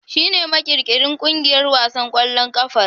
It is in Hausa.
Shi ne makirkirin ƙungiyar wasan ƙwallon kafar.